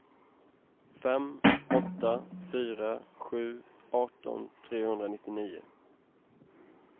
fem åtta fyra sju arton trehundranittionio